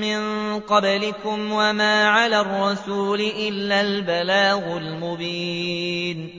مِّن قَبْلِكُمْ ۖ وَمَا عَلَى الرَّسُولِ إِلَّا الْبَلَاغُ الْمُبِينُ